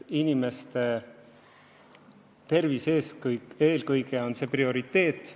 Inimeste tervis on eelkõige prioriteet.